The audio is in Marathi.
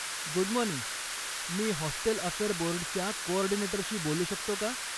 गुड मॉर्निंग, मी हॉस्टेल अफेअर बोर्डच्या कोऑर्डिनेटरशी बोलू शकतो का?